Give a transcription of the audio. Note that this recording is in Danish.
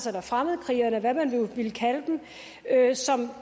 eller fremmedkrigere eller hvad man nu vil kalde dem som